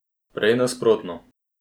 Prej nasprotno.